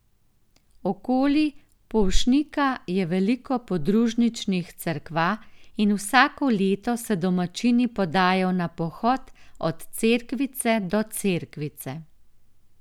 Okoli Polšnika je veliko podružničnih cerkva in vsako leto se domačini podajo na pohod Od cerkvice do cerkvice.